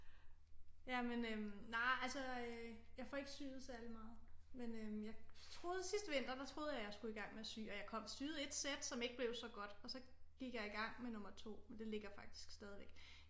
Jamen øh nej altså jeg får ikke syet særlig meget men øh jeg troede sidste vinter der troede jeg at jeg skulle i gang med at sy og jeg syede et sæt som ikke blev så godt og så gik jeg i gang med nummer 2 men det ligger faktisk stadigvæk